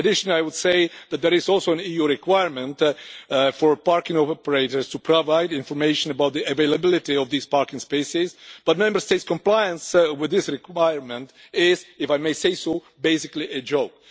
I would add that there is also an EU requirement for parking operators to provide information about the availability of these parking spaces, but Member States' compliance with this requirement is, if I may say so, basically a joke.